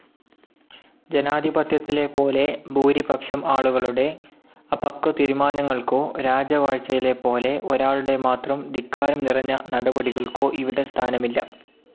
ജനാധിപത്യത്തിലെപോലെ ഭൂരിപക്ഷം ആളുകളുടെ അപക്വതീരുമാനങ്ങൾക്കോ, രാജവാഴ്ചയിലെപ്പോലെ ഒരാളുടെമാത്രം ധിക്കാരംനിറഞ്ഞ നടപടികൾക്കോ ഇവിടെ സ്ഥാനമില്ല.